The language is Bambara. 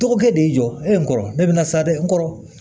Dɔgɔkɛ de y'i jɔ e n kɔrɔ ne be na sa dɛ n kɔrɔ